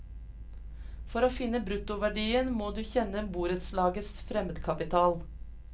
For å finne bruttoverdien, må du kjenne borettslagets fremmedkapital.